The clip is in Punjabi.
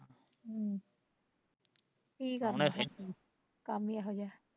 ਕੀ ਕਰਨਾ ਕੰਮ ਈ ਇਹੋ ਜਿਹਾ ਐ